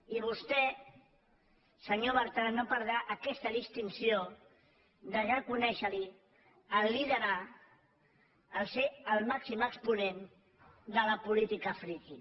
i vostè senyor bertran no perdrà aquesta distinció de reconèixer li el fet de liderar de ser el màxim exponent de la política freaky